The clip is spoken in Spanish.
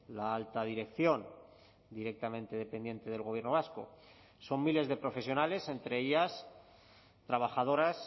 la alta dirección directamente dependiente del gobierno vasco son miles de profesionales entre ellas trabajadoras